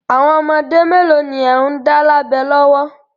Àwọn ọmọ mélòó ni ẹ̀ ń dá lábẹ lọ́wọ́?